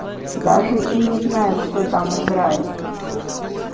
даже и не знаю кто там играет